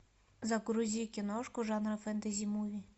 загрузи киношку жанра фентази муви